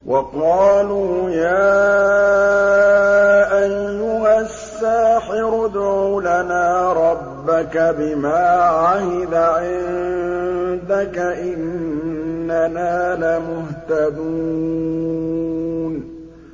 وَقَالُوا يَا أَيُّهَ السَّاحِرُ ادْعُ لَنَا رَبَّكَ بِمَا عَهِدَ عِندَكَ إِنَّنَا لَمُهْتَدُونَ